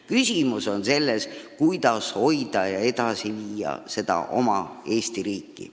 Küsimus on selles, kuidas hoida ja edasi viia oma Eesti riiki.